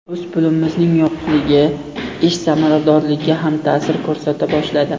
O‘z pulimizning yo‘qligi ish samaradorligiga ham ta’sir ko‘rsata boshladi.